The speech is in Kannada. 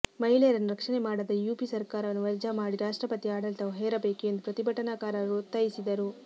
ಮಹಿಳೆಯರನ್ನು ರಕ್ಷಣೆ ಮಾಡದ ಯುಪಿ ಸರ್ಕಾರವನ್ನು ವಜಾ ಮಾಡಿ ರಾಷ್ಟ್ರಪತಿ ಆಡಳಿತ ಹೇರಬೇಕು ಎಂದು ಪ್ರತಿಭಟನಾಕಾರರು ಒತ್ತಾಯಿಸಿದರು